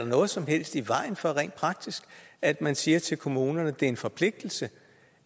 noget som helst i vejen for at man siger til kommunerne at det er en forpligtelse